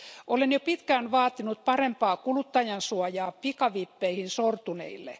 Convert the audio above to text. Olen jo pitkään vaatinut parempaa kuluttajansuojaa pikavippeihin sortuneille.